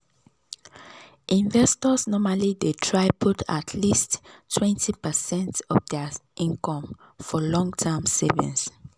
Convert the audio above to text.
investors normally dey try put at least twenty percent of dir income for long-term savings.